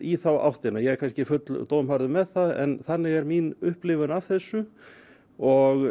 í þá áttina ég er kannski full dómharður með það en þannig er mín upplifun af þessu og